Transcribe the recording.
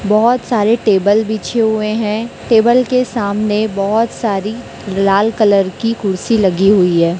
बहोत सारे टेबल बीछे हुए हैं टेबल के सामने बहोत सारी लाल कलर की कुर्सी लगी हुई है।